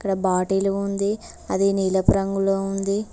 ఇక్కడ బాటిల్ ఉంది అది నీలపు రంగులో ఉంది